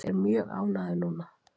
Ég er mjög ánægður núna.